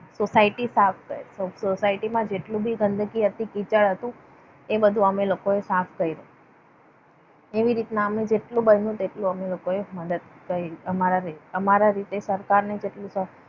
Society સાફ કરી. સોસાયટીમાં જેટલું બી ગંદકી હતી કિચડ હતું. એનો બધું અમે લોકોએ સાફ કર્યું. એવી રીતના અમે જેટલું બન્યું તેટલું અમે લોકોએ મદદ કરી. અમારા રીતે સરકારને જેટલું